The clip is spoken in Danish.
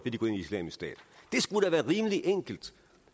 at de går ind i islamisk stat det skulle da være rimelig enkelt